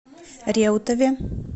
реутове